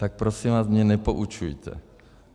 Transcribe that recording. Tak prosím vás mě nepoučujte.